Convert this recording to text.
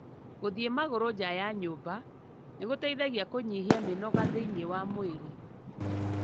Gũthĩi magũru nja ya nyumba nĩgũteithagia kũnyihia mĩnoga thĩini wa mwĩri.